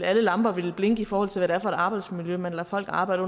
alle lamper ville blinke i forhold til hvad det er for et arbejdsmiljø man lader folk arbejde